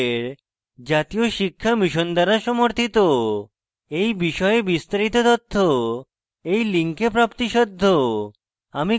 এই বিষয়ে বিস্তারিত তথ্য এই link প্রাপ্তিসাধ্য